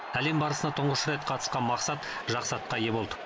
әлем барысына тұңғыш рет қатысқан мақсат жақсы атқа ие болды